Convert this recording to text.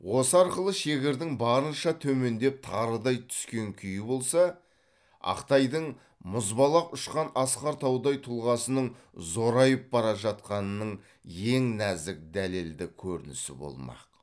осы арқылы шегірдің барынша төмендеп тарыдай түскен күйі болса ақтайдың мұзбалақ ұшқан асқар таудай тұлғасының зорайып бара жатқанының ең нәзік дәлелді көрінісі болмақ